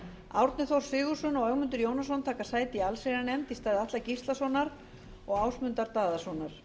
árni þór sigurðsson og ögmundur jónasson taka sæti í allsherjarnefnd í stað atla gíslasonar og ásmundar daðasonar